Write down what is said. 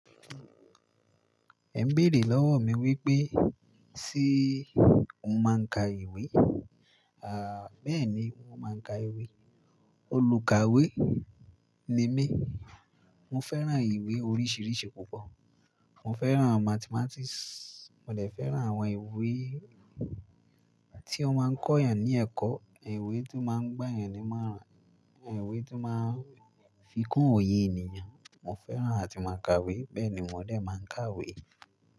Ẹ ń béèrè lọ́wọ́ mi wípé, ṣe o máa ń ka ìwé? À, bẹ́ẹ̀ni mo máa ń ka ìwé. Olùkàwé ni mí. Mo fẹ́ràn ìwé oríṣìíríṣìí púpọ̀. Mo fẹ́ràn Mathematics, mo lè fẹ́ràn àwọn ìwé tí ó máa ń kọ́ ènìyàn ní ẹ̀kọ́, ìwé tí ó máa ń gbá ènìyàn ní imoran, ìwé tí ó máa ń fi kún òye ènìyàn, mo fẹ́ràn àti máa kà iwe, bẹ́ẹ̀ ni mò dá máa ń kàwé.